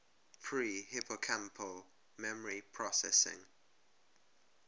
pre hippocampal memory processing